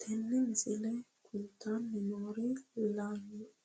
Tinni misile kulittanni noorrinna